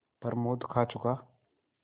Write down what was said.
प्रमोद खा चुका